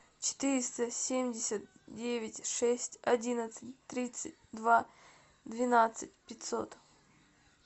четыреста семьдесят девять шесть одиннадцать тридцать два двенадцать пятьсот